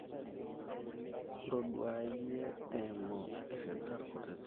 ntoduaayi eimu irr`dat kutitik